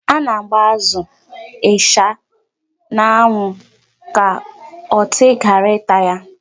A na-agba azụ, ịsha, dgz n'anwụ ka ọtị ghara ịta ya.